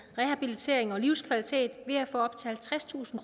rehabilitering og livskvalitet ved at få op til halvtredstusind